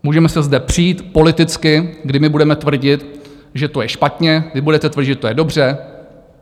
Můžeme se zde přít politicky, kdy my budeme tvrdit, že to je špatně, vy budete tvrdit, že to je dobře.